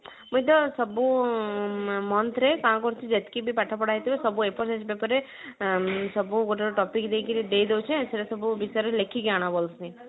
ମୁଁଇ ତ ଆଁ ସବୁ month ରେ କାଣ କରୁଛି ଯେତିକି ବି ପାଠ ପଢା ହେଇଥିବ ସବୁ କରେ ସବୁ ଗୋଟେ topic ଦେଇକିରି ଦେଇଦଉଛି ନା ସେଇଟା ସବୁ ଭିତରେ ଲେଖିକି ଆଣ କହୁଛି